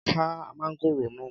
Ka mángòrò náà!